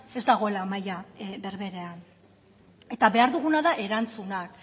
ez dagoela maila berberean eta behar duguna da erantzunak